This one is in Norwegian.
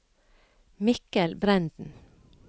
Mikkel Brenden